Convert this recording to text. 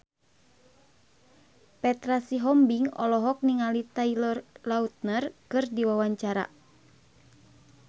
Petra Sihombing olohok ningali Taylor Lautner keur diwawancara